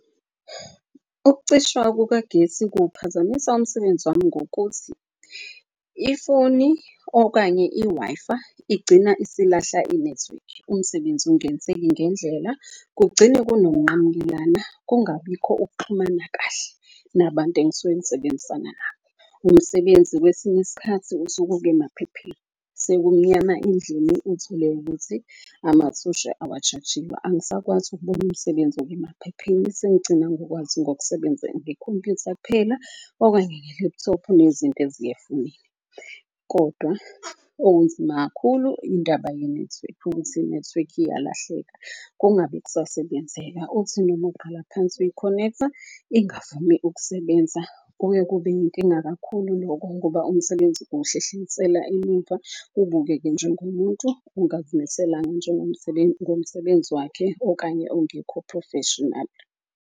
Ukucishwa kukagesi kuwuphazamisa umsebenzi wami ngokuthi ifoni okanye i-Wi-Fi igcina isilahla inethiwekhi. Umsebenzi ungenzeki ngendlela kugcine kunokunqamukelana kungabikho ukuxhumana kahle nabantu engisuke ngisebenzisana nabo. Umsebenzi kwesinye iskhathi usuke oke emaphepheni sekumnyama endlini. Uthole ukuthi amathosha awa-charge-iwe angisakwazi ukubona umsebenzi oke emaphepheni. Sengigcina ngokwazi ngokusebenza ngekhompuyutha kuphela, okanye nge-laptop-u nezinto . Kodwa okunzima kakhulu indaba yenethiwekhi, ukuthi inethiwekhi iyalahleka kungabe kusasebenzeka. Uthi noma uqala phansi uyi-connect-a ingavumi ukusebenza, kuke kube yinkinga kakhulu lokho. Ngoba umsebenzi kuwuhlehlisela emumva. Ubukeke njengomuntu ongazimiselanga ngomsebenzi wakhe okanye ongekho-professional.